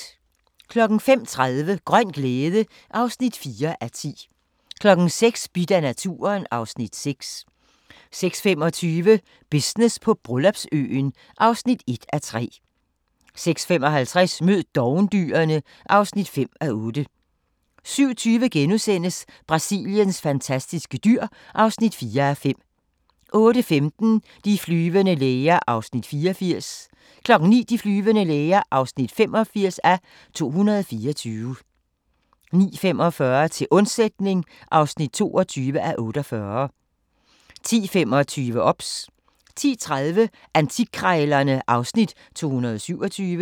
05:30: Grøn glæde (4:10) 06:00: Bidt af naturen (Afs. 6) 06:25: Business på Bryllupsøen (1:3) 06:55: Mød dovendyrene (5:8) 07:20: Brasiliens fantastiske dyr (4:5)* 08:15: De flyvende læger (84:224) 09:00: De flyvende læger (85:224) 09:45: Til undsætning (22:48) 10:25: OBS 10:30: Antikkrejlerne (Afs. 227)